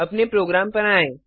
अपने प्रोग्राम पर आएँ